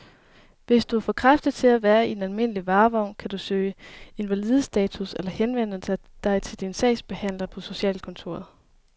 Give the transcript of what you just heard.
Hvis du er for kraftig til at være i en almindelig varevogn, kan du kan søge invalidestatus eller henvende dig til din sagsbehandler på socialkontoret.